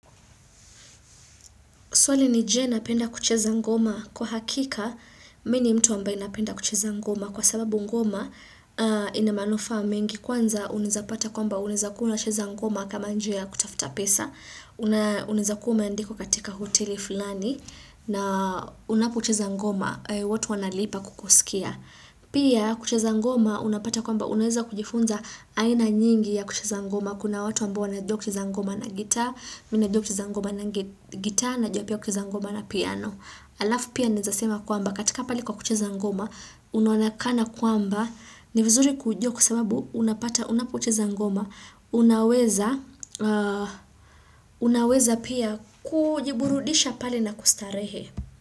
Swali ni je napenda kucheza ngoma? Kwa hakika, mimi ni mtu ambae napenda kucheza ngoma. Kwa sababu ngoma, ina manufaa mengi. Kwanza, unaweza kupata kwamba unaweza kuwa unacheza ngoma kama njia ya kutafuta pesa. Unaweza kuwa umeandikwa katika hoteli fulani. Na unapocheza ngoma, watu wanalipa kukusikia. Pia, kucheza ngoma unapata kwamba unaweza kujifunza aina nyingi ya kucheza ngoma. Kuna watu ambao wanajua kucheza ngoma na gitaa. Mimi najua kucheza ngoma na gitaa najua pia kucheza ngoma na piano alafu pia naweza sema kwamba katika pale kwa kucheza ngoma unaonekana kwamba ni vizuri kujua kwasababu unapata unapocheza ngoma unaweza unaweza pia kujiburudisha pali na kustarehe.